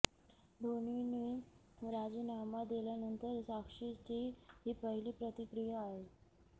धोनीने राजीनामा दिल्यानंतर साक्षीची ही पहिली प्रतिक्रिया आहे